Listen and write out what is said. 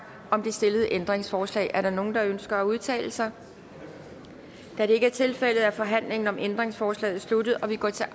om det stillede ændringsforslag er der nogen der ønsker at udtale sig da det ikke er tilfældet er forhandlingen om ændringsforslaget sluttet og vi går til